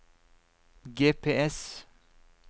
GPS